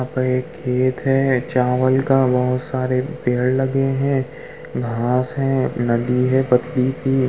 यहाँ पर एक खेत है चावल का बहोत सारे पेड़ लगे हैं घांस हैनदी हैपतली सी --